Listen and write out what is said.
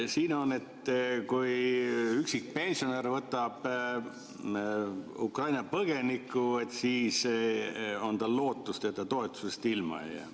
Siin on nii: kui üksikpensionär võtab Ukraina põgeniku, siis on tal lootust, et ta toetusest ilma ei jää.